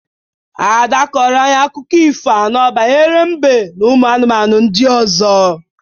Ada kọrọ anyị akụkọ ifo anọ banyere mbe na ụmụ anụmanụ ndị ọzọ.